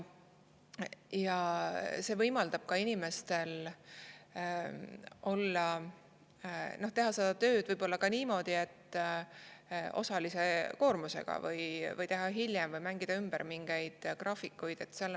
See võimaldab inimestel teha tööd võib-olla osalise koormusega või teha hiljem või mängida graafikuid ümber.